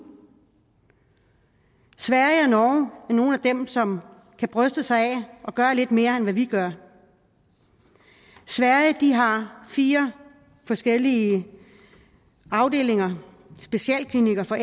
sverige og norge er nogle af dem som kan bryste sig af at gøre lidt mere end hvad vi gør sverige har fire forskellige afdelinger specialklinikker for